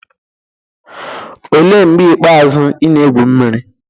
olee mgbe ikpeazụ ị na-egwu mmiri?